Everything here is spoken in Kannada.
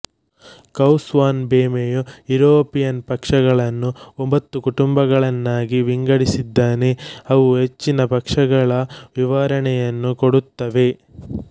ಕೌಸ್ ವಾನ್ ಬೇಮೆಯು ಯುರೋಪಿಯನ್ ಪಕ್ಷಗಳನ್ನು ಒಂಬತ್ತು ಕುಟುಂಬಗಳನ್ನಾಗಿ ವಿಂಗಡಿಸಿದ್ದಾನೆ ಅವು ಹೆಚ್ಚಿನ ಪಕ್ಷಗಳ ವಿವರಣೆಯನ್ನು ಕೊಡುತ್ತವೆ